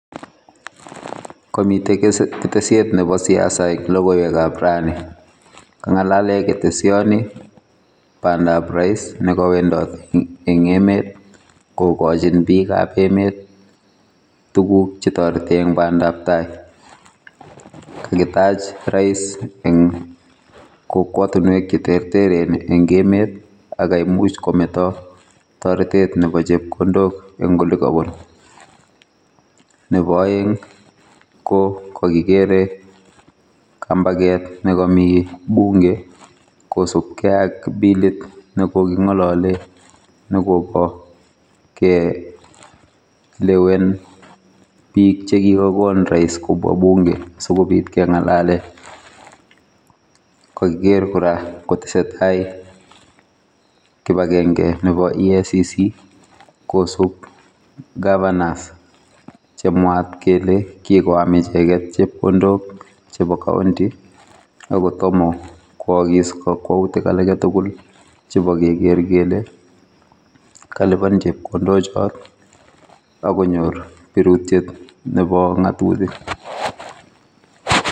Komite ketesiet nebo siasa eng logoiwekab rani. Kangalale ketesioni bandab rais nekawendot eng emet kokachin biikab emet tuguk chetoreti eng bandabtai kakitach rais eng kokwatinwek cheterteren eng emet akaimuch kometo toretet nebo chepkondok eng ole kowo. Nebo aeng ko kakikere kambaket nekami bunge kosupkei ak bilit ne kokingalole nekobo kelewen biik che kikagon rais kobwa bunge sikobit kengalale kakiker kora kotesetai kibangenge nebo eacc kosup governors chemwaat kele kikoam icheget chepkondok chebo county akotomo kwaagis kakwautik agetugul chebo kekeer kele kaliban chepkondochot akonyor birutiet nebo ngatutik.